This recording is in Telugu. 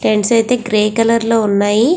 టెంట్స్ అయతె గ్రే కలర్ లో ఉన్నాయి.